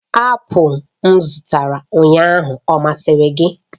apụl m zụtara ụnyaahụ ọ masịrị gị?